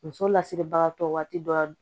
Muso lasiribagatɔ waati dɔ